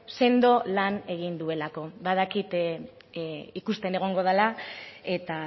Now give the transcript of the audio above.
sendo lan egin duelako badakit ikusten egongo dela eta